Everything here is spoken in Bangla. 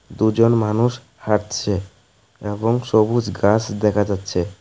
দুজন মানুষ হাঁটছে এবং সবুজ গাস দেখা যাচ্ছে।